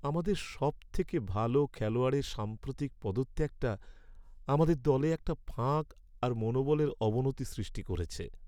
আমাদের সবথেকে ভালো খেলায়াড়ের সাম্প্রতিক পদত্যাগটা আমাদের দলে একটা ফাঁক আর মনোবলের অবনতি সৃষ্টি করেছে।